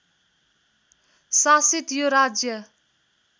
शासित यो राज्य